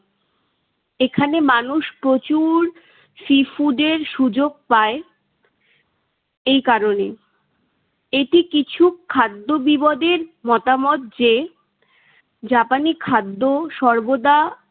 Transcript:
এখানে মানুষ প্রচুর sea food এর সুযোগ পায় এই কারণে। এটি কিছু খাদ্যবিবদের মতামত যে, জাপানি খাদ্য সর্বদা